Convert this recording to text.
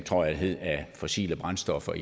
af fossile brændstoffer